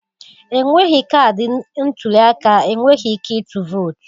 Enweghị kaadị ntuli aka, Enweghị ike itul vutoo